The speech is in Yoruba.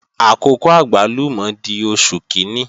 Àkókò àgbálùmọ̀ di Oṣù kíní